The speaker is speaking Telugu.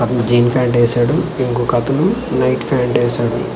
అతను జీన్ ప్యాంట్ ఏశాడు ఇంకొకతను నైట్ ప్యాంట్ ఏశాడు.